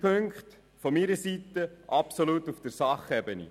Ich sehe drei Punkte absolut auf der Sachebene.